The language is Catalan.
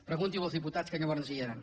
pregunti ho als diputats que llavors hi eren